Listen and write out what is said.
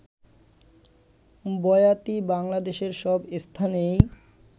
বয়াতি বাংলাদেশের সব স্থানেই